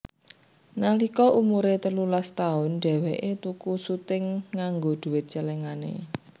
Nalika umure telulas taun dheweke tuku suting nganggo duwit celengane